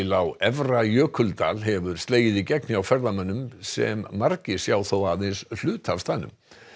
á Efra Jökuldal hefur slegið í gegn hjá ferðamönnum sem margir sjá þó aðeins hluta af staðnum